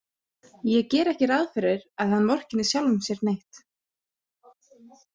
Ég geri ekki ráð fyrir að hann vorkenni sjálfum sér neitt.